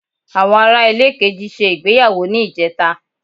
Àwọn Ará ilé kejì ṣe ìgbéyàwó ní ìjẹta